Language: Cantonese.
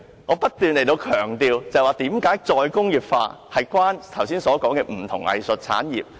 我不斷解釋為何"再工業化"與我剛才提及的不同藝術產業有關。